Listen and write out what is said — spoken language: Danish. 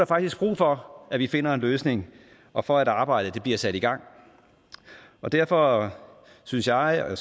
faktisk brug for at vi finder en løsning og for at arbejdet bliver sat i gang derfor synes jeg og